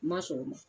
Ma sɔn o ma